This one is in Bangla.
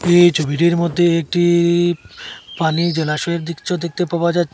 এই ছবিটির মধ্যে একটি পানি জলাশয়ের দৃশ্য দেখতে পাওয়া যাচ্ছ--